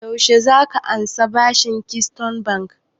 Yaushe za ka ansa bashin daga keystone bank?